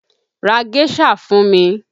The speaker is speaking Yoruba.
Ra géṣà fún mi!